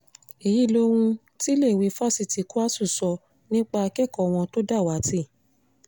èyí lohun tíléèwé fásitì kwásù sọ nípa akẹ́kọ̀ọ́ wọn tó dàwátì